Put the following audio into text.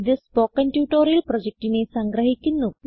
ഇതു spoken tutorial പ്രൊജക്റ്റിനെ സംഗ്രഹിക്കുന്നു